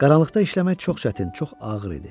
Qaranlıqda işləmək çox çətin, çox ağır idi.